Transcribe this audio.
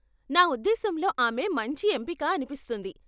నా ఉద్దేశ్యంలో ఆమె మంచి ఎంపిక అనిపిస్తుంది.